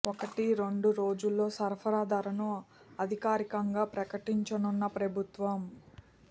ఒకటి రెండు రోజుల్లో సరఫరా ధరను అధికారికంగా ప్రకటించనున్న ప్రభుత్వం